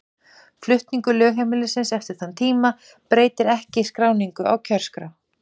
Flutningur lögheimilis eftir þann tíma breytir ekki skráningu á kjörskrá.